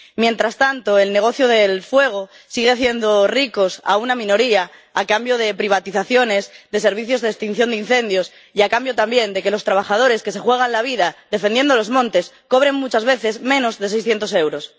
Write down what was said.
Mientras tanto, el negocio del fuego sigue haciendo ricos a una minoría, a cambio de privatizaciones de servicios de extinción de incendios y a cambio también de que los trabajadores que se juegan la vida defendiendo los montes cobren muchas veces menos de 600 euros.